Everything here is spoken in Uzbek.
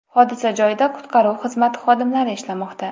Hodisa joyida qutqaruv xizmati xodimlari ishlamoqda.